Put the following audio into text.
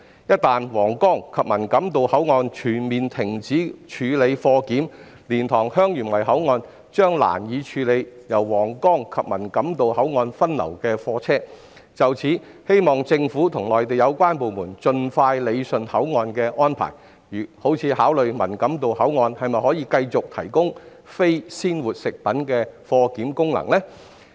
一旦皇崗及文錦渡口岸全面停止處理貨檢，蓮塘/香園圍口岸將難以處理由皇崗及文錦渡口岸分流的貨車，希望政府與內地有關部門盡快理順口岸安排，例如，當局應考慮文錦渡口岸是否可以繼續提供非鮮活食品貨檢功能。